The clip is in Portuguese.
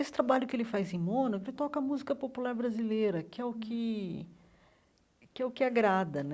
Esse trabalho que ele faz em Mônaco, ele toca música popular brasileira, que é o que que é o que agrada né.